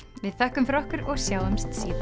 við þökkum fyrir okkur og sjáumst síðar